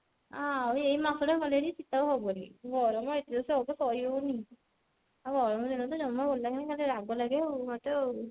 ଆଉ ଏ ମାସ ଟା ଗଲେ ହେରି ଶିତ ଆଉ ହବନି ଗରମ ଏତେ ଯେ ସହି ହଉନି ଆଉ ଗରମ ଦିନ ତ ଜମା ଭଲ ଲାଗେନି ଖାଲି ତ ରାଗ ଲାଗେ ମୋତେ ଆଉ